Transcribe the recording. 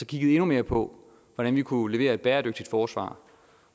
kiggede endnu mere på hvordan vi kunne levere et bæredygtigt forsvar